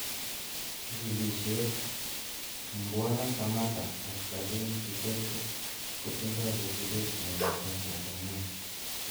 Jikilisiet :Mbwana Samatta ak Salim Kikeke kotindoi kosubeet neoo eng Tanzania